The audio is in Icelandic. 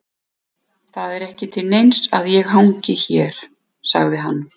Það er ekki til neins að ég hangi hér, sagði hann.